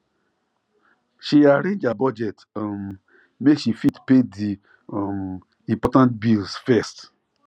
she arrange her budget um make she fit pay di um important bills first